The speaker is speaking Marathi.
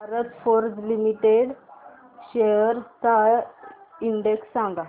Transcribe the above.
भारत फोर्ज लिमिटेड शेअर्स चा इंडेक्स सांगा